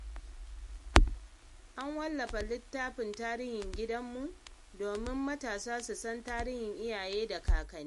An wallafa littafin tarihin danginmu, domin matasa su san tarihin iyaye da kakanni.